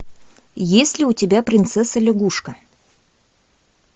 есть ли у тебя принцесса лягушка